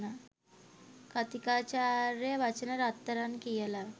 කථීකාචාර්ය වචන රත්තරන් කියල